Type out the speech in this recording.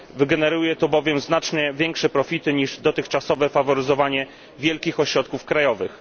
Wygeneruje to bowiem znacznie większe profity niż dotychczasowe faworyzowanie wielkich ośrodków krajowych.